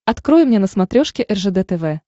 открой мне на смотрешке ржд тв